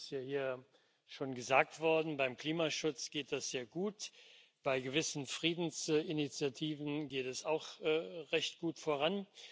Das ist ja hier schon gesagt worden Beim Klimaschutz geht es sehr gut, bei gewissen Friedensinitiativen geht es auch recht gut voran.